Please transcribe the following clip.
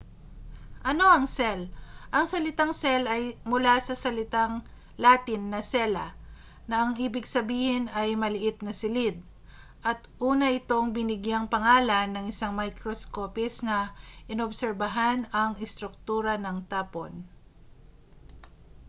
ano ang cell ang salitang cell ay mula sa salitang latin na cella na ang ibig sabihin ay maliit na silid at una itong binigyang pangalan ng isang microscopist na inobserbahan ang estruktura ng tapon